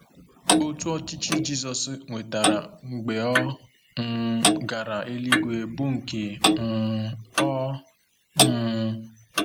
Otù ọchịchị Jizọs nwetara mgbe ọ um gara eluigwe bụ nke um ọ̀? um